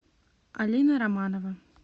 алина романова